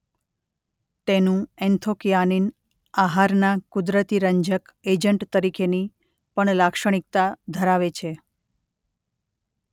તેનું એન્થોકયાનિન આહારના કુદરતી રંજક એજન્ટ તરીકેની પણ લાક્ષણિકતા ધરાવે છે.